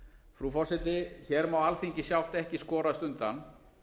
frú forseti hér má alþingi sjálft ekki skorast undan